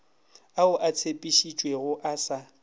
ao a tshepišitšwego a sa